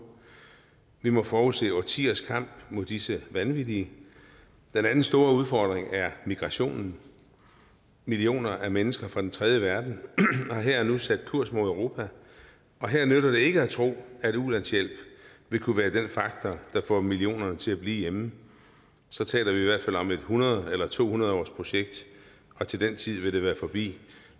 vi må forudse årtiers kamp mod disse vanvittige den anden store udfordring er migrationen millioner af mennesker fra den tredje verden har her og nu sat kurs mod europa og her nytter det ikke at tro at ulandshjælp vil kunne være den faktor der får millionerne til at blive hjemme så taler vi i hvert fald om et hundrede års eller to hundrede årsprojekt og til den tid vil det være forbi